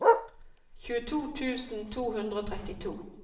tjueto tusen to hundre og trettito